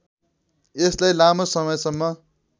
यसलाई लामो समयसम्म